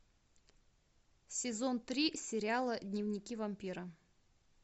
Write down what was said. сезон три сериала дневники вампира